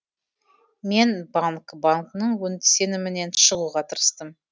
мен банг бангның сенімінен шығуға тырыстым